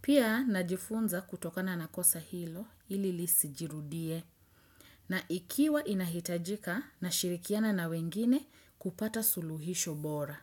Pia na jifunza kutokana na kosa hilo ili lisijirudie. Na ikiwa inahitajika nashirikiana na wengine kupata suluhisho bora.